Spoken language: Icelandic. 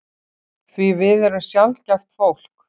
Því við erum sjaldgæft fólk.